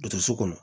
Dɔgɔtɔrɔso kɔnɔ